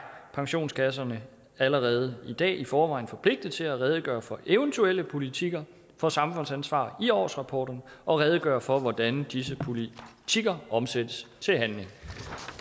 pensionskasserne allerede i dag i forvejen forpligtet til at redegøre for eventuelle politikker for samfundsansvar i årsrapporterne og at redegøre for hvordan disse politikker omsættes til handling